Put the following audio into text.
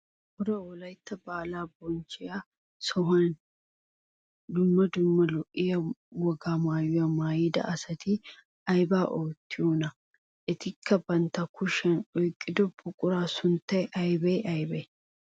Cora wolaytta baalaa bonchchiyo sohuwaan dumma dumma lo'iyaa wogaa maayuwaa mayida asati aybaa oottiyoonaa? etikka bantta kushiyaan oyqqido buquratu sunttay aybee aybee?